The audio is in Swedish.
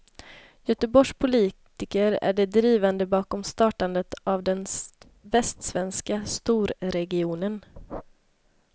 Göteborgs politiker är de drivande bakom startandet av den västsvenska storregionen.